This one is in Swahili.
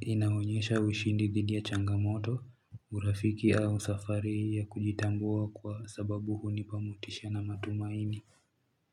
inaonyesha ushindi dhidi ya changamoto. Urafiki au safari ya kujitambua kwa sababu hunipa motisha na matumaini.